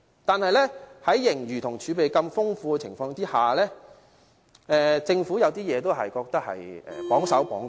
但是，儘管盈餘和儲備如此豐富，我覺得政府有時做事仍是有點"綁手綁腳"。